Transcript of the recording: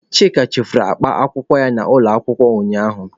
Chika chefuru akpa akwụkwọ ya n'ụlọ akwụkwọ ụnyaahụ.